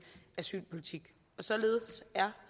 asylpolitik således er